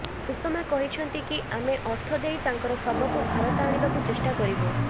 ସୁଷମା କହିଛନ୍ତି କି ଆମେ ଅର୍ଥ ଦେଇ ତାଙ୍କର ଶବକୁ ଭାରତ ଆଣିବାକୁ ଚେଷ୍ଟା କରିବୁ